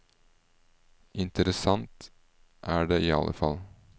Interessant er det i alle fall.